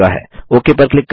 okay पर click करें